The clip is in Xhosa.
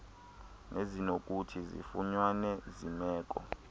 nezinokuthi zifunyanwe zimeko